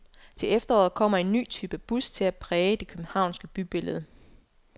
Til efteråret kommer en ny type bus til at præge det københavnske bybillede.